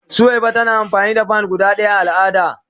Suwaiba tana amfani da "pad" guda daya a al'ada.